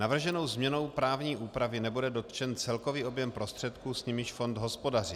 Navrženou změnou právní úpravy nebude dotčen celkový objem prostředků, s nimiž fond hospodaří.